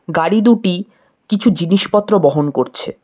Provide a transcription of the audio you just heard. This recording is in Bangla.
গাড়ি দুটি কিছু জিনিসপত্র বহন করছে।